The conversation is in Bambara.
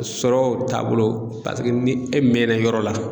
Sɔrɔ taabolo paseke ni e mɛna yɔrɔ la